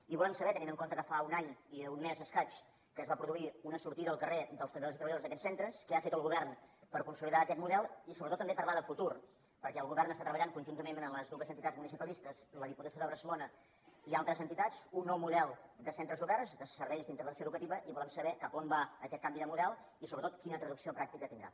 i volem saber tenint en compte que fa un any i un mes i escaig que es va produir una sortida al carrer dels treballadors i treballadores d’aquests centres què ha fet el govern per consolidar aquest model i sobretot també parlar de futur perquè el govern està treballant conjuntament amb les dues entitats municipalistes la diputació de barcelona i altres entitats un nou model de centres oberts de serveis d’intervenció educativa i volem saber cap a on va aquest canvi de model i sobretot quina traducció pràctica tindrà